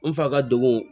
N fa ka dogo